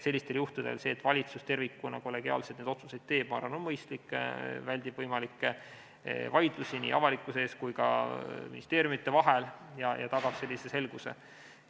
Sellistel juhtudel see, et valitsus tervikuna, kollegiaalselt neid otsuseid teeb, ma arvan, on mõistlik, see väldib võimalikke vaidlusi nii avalikkuse ees kui ka ministeeriumide vahel ja tagab selguse.